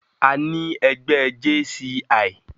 Àní ẹgbẹ́ JCI.